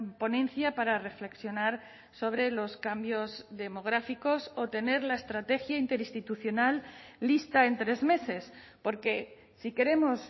ponencia para reflexionar sobre los cambios demográficos o tener la estrategia interinstitucional lista en tres meses porque si queremos